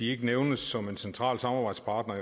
ikke nævnes som en central samarbejdspartner